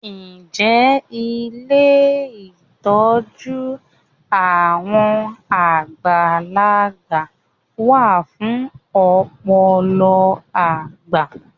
Ǹjẹ́ ilé ìtọ́jú ojoojúmọ́ àwọn àgbàlagbà wá fún ọ̀pọ̀lọpọ̀ àgbà?